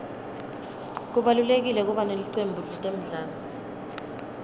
kubalulekile kuba nelicembu letemidlalo